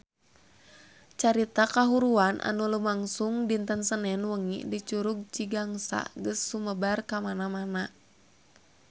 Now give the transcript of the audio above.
Carita kahuruan anu lumangsung dinten Senen wengi di Curug Cigangsa geus sumebar kamana-mana